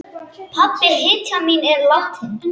Pabbi, hetjan mín, er látinn.